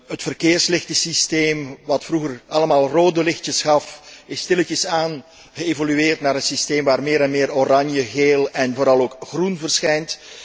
Het verkeerslichtensysteem, dat vroeger allemaal rode lichtjes gaf, is stilaan geëvolueerd naar een systeem waar meer en meer oranje, geel en vooral ook groen verschijnt.